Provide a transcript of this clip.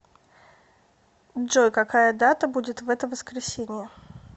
джой какая дата будет в это воскресенье